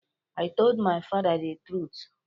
I told my father the truth.